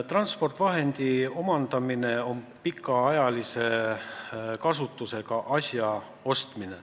Transpordivahendi omandamine on pikaajalise kasutusega asja ostmine.